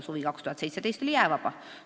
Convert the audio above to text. Suvi 2017 oli jäävaba.